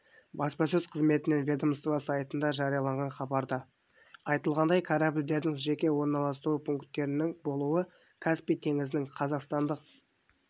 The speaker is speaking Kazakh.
баспасөз қызметінен ведомство сайтында жарияланған хабарда айтылғандай корабльдердің жеке орналасу пунктінің болуы каспий теңізінің қазақстандық